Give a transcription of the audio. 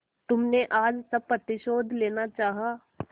तुमने आज सब प्रतिशोध लेना चाहा